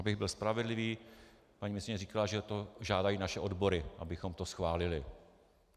Abych byl spravedlivý, paní ministryně říkala, že to žádají naše odbory, abychom to schválili.